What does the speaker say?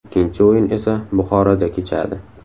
Ikkinchi o‘yin esa Buxoroda kechadi.